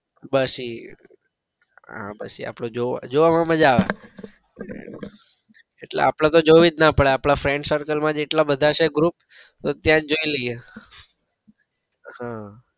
બસ ઈ હા બસ એ જોવામાં માજા આવે એટલે અપડે તો જોવી જ ના પડે આપડા friend circle માં જ એટલા બધા છે group તો ત્યાં જ જોઈ લઈએ. ઉહ